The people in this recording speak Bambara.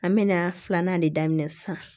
An mɛna filanan de daminɛ sisan